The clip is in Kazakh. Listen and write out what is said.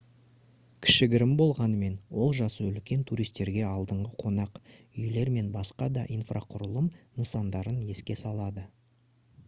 кішігірім болғанымен ол жасы үлкен туристерге алдыңғы қонақ үйлер мен басқа да инфрақұрылым нысандарын еске салады